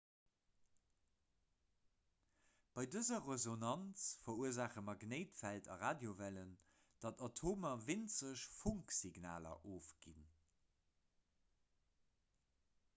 bei dëser resonanz verursaache magnéitfeld a radiowellen datt atomer winzeg funksignaler ofginn